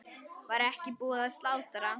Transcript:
Var ekki búið að slátra?